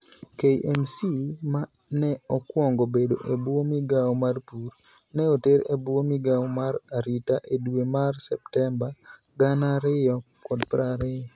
KMC, ma ne okwong bedo e bwo migao mar pur, ne oter e bwo migao mar arita e dwe mar Septemba 2020.